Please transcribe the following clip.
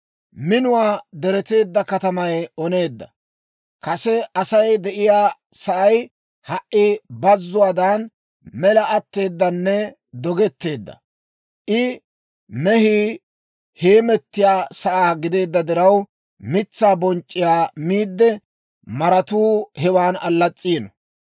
Minuwaa diretteedda katamay oneedda; kase Asay de'iyaa sa'ay ha"i bazzuwaadan, mela atteedanne dogetteedda; I mehii heemettiyaa sa'aa gideedda diraw, mitsaa bonc'c'iyaa miidde, maratuu hewan allas's'iino.